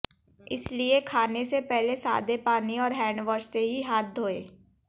इसलिए खाने से पहले सादे पानी और हैंडवॉश से ही हाथ धोएं